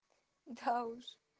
да уж